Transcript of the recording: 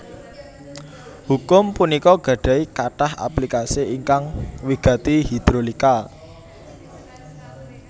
Hukum punika gadahi katah aplikasi ingkang wigati hidrolika